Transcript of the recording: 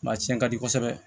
Ma cɛn ka di kosɛbɛ